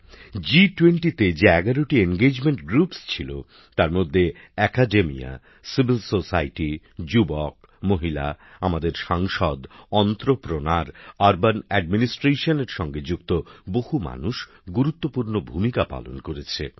জি20 তে যে ১১টি বিভিন্ন বিষয়ের গোষ্ঠী ছিল তার মধ্যে শিক্ষা জগত সুশীল সমাজ যুবক মহিলা আমাদের সাংসদ শিল্পোদ্যোগী পুর প্রশাসনের সঙ্গে যুক্ত বহু মানুষ গুরুত্বপূর্ন ভূমিকা পালন করেছেন